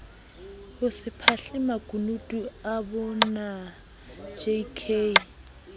hose phahle makunutu abonaj k